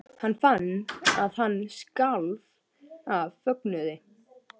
Hann fann að hann skalf af fögnuði.